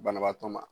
Banabaatɔ ma